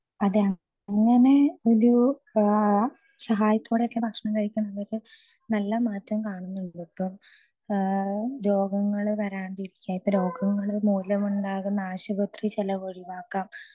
speaker 2 അതെ അങ്ങനെ ഒരു സഹോയത്തോടെ ഒക്കെ ഭക്ഷണം കഴിക്കുന്ന സമയത്ത് നല്ല മാറ്റം കാണുന്നുണ്ട് ട്ടോ രോഗങ്ങൾ വരാതിരിക്കാൻ ഇപ്പൊ രോഗങ്ങൾ മൂലമുണ്ടാകുന്ന ആശുപത്രി ചെലവ് ഒഴിവാക്കാം